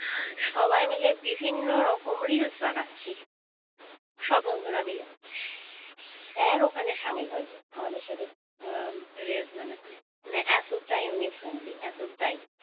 সবাই মিলে বিভিন্ন রকম reels বানাচ্ছি সব বন্ধুরা মিলে sir ওখানে সামিল হয়েছে আমাদের সাথে reels বানাতে মানে এতটাই উনি friendly এতটাই